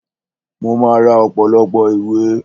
Mo máa ra ọ̀pọ̀lọpọ̀ ìwé